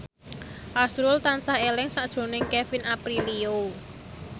azrul tansah eling sakjroning Kevin Aprilio